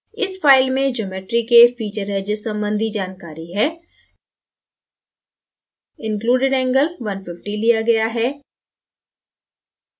इस file में geometry के feature edges संबंधी जानकारी है included angle 150 लिया गया है